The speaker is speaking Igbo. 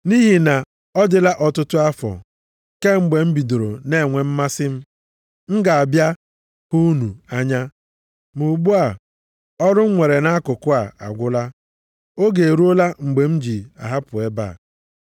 Nʼihi na ọ dịla ọtụtụ afọ kemgbe m bidoro na-enwe mmasị m ga-abịa hụ unu anya, ma ugbu a, ọrụ m nwere nʼakụkụ a agwụla, oge eruola mgbe m ji ahapụ ebe a.